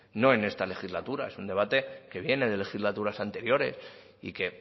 no en esta legislatura es un debate que viene de legislaturas anteriores y que